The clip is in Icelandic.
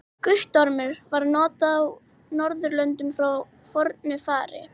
Guttormur var notað á Norðurlöndum frá fornu fari.